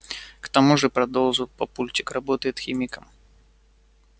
к тому же продолжил папульчик работает химиком